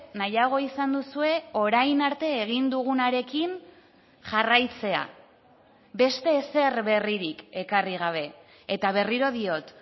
nahiago izan duzue orain arte egin dugunarekin jarraitzea beste ezer berririk ekarri gabe eta berriro diot